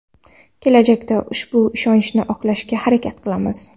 Kelajakda ushbu ishonchni oqlashga harakat qilamiz.